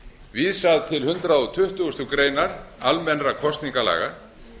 vísað til hundrað tuttugasta grein almennra kosningalaga